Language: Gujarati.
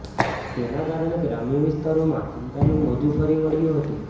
તેના કારણે ગ્રામ્ય વિસ્તારોમાં ચિંતાનું મોજુ ફરી વળ્યુ હતું